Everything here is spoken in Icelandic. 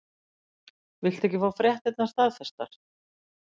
Viltu ekki fá fréttirnar staðfestar?